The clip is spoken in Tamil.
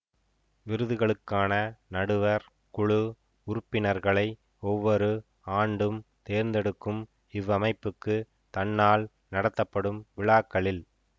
விருதுகளுக்கான நடுவர் குழு உறுப்பிவர்களை ஒவ்வொரு ஆண்டும் தேர்ந்தெடுக்கும் இவ்வமைப்புக்கு தன்னால் நடத்தப்படும் விழாக்களில்